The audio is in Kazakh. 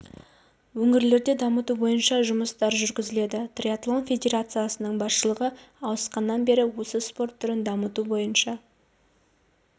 өңірлерде дамыту бойынша жұмыстар жүргізіледі триатлон федерациясының басшылығы ауысқаннан бері осы спорт түрін дамыту бойынша